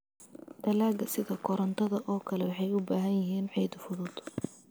Dalagga sida karootada oo kale waxay u baahan yihiin ciid fudud.